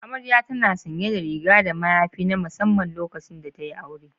Amarya tana sanye da riga da mayafi na musamman lokacin da tayi aure.